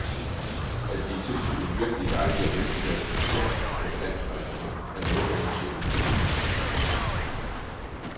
At blive tilbudt en virkelig dejlig og veltillavet dessert på en dansk restaurant er noget af en sjældenhed.